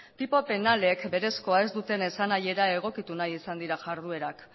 tipo penalek berezkoa ez duten esanahiera egokitu nahi izan dira jarduerak